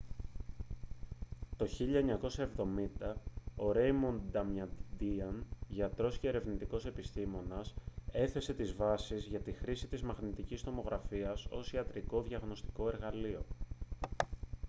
το 1970 ο ρέιμοντ νταμαντίαν γιατρός και ερευνητικός επιστήμονας έθεσε τις βάσεις για τη χρήση της μαγνητικής τομογραφίας ως ιατρικό διαγνωστικό εργαλείο